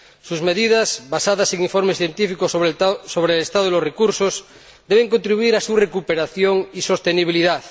Sus medidas, basadas en informes científicos sobre el estado de los recursos, deben contribuir a su recuperación y sostenibilidad.